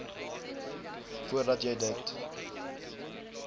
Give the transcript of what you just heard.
voordat jy dit